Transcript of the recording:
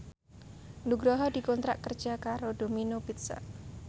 Nugroho dikontrak kerja karo Domino Pizza